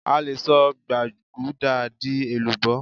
a lè sọ gbaguda di èlùbó